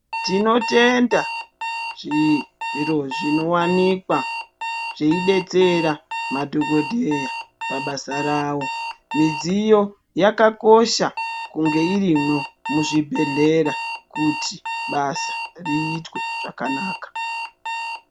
Tinotenda zvi zviro zvi owanikwa zveidetsera madhokodheya pabasa rawo midziyo yakakosha kunge irimwo muzvibhedhlera kuti basa riitwe zvakanaka.